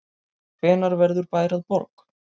Hvenær verður bær að borg?